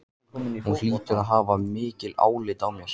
Hún hlýtur að hafa mikið álit á mér.